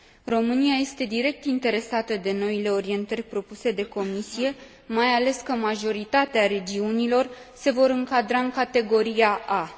România este direct interesată de noile orientări propuse de Comisie, mai ales că majoritatea regiunilor se vor încadra în categoria A.